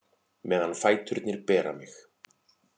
Meðan fæturnir bera mig